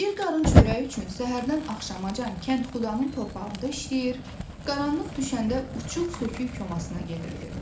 Bir qarın çörəyi üçün səhərdən axşamacan kəndxudanın torpağında işləyir, qaranlıq düşəndə uçuq-sökük komasına gedirdi.